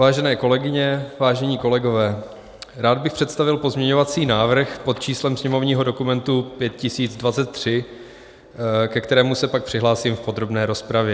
Vážené kolegyně, vážení kolegové, rád bych představil pozměňovací návrh pod číslem sněmovního dokumentu 5023, ke kterému se pak přihlásím v podrobné rozpravě.